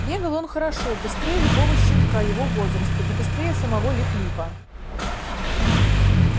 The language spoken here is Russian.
бегал он хорошо быстрее любого щенка его возраста и быстрее самого лип липа